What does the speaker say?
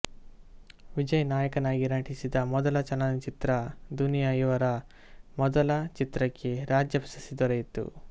ವಿಜಯ್ ನಾಯಕನಾಗಿ ನಟಿಸಿದ ಮೊದಲ ಚಲನಚಿತ್ರ ದುನಿಯಾ ಇವರ ಮೊದಲ ಚಿತ್ರಕ್ಕೆ ರಾಜ್ಯ ಪ್ರಶಸ್ತಿ ದೊರೆಯಿತು